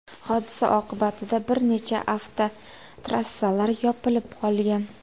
Hodisa oqibatida bir necha avtotrassalar yopilib qolgan.